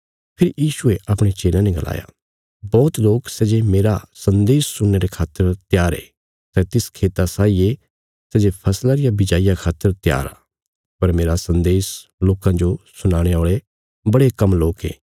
फेरी यीशुये अपणे चेलयां ने गलाया बौहत लोक सै जे मेरा सन्देश सुणने रे खातर त्यार ये सै तिस खेता साई ये सै जे फसला रिया बिजाईया खातर त्यार आ पर मेरा सन्देश लोकां जो सुनाणे औल़े बड़े कम लोक ये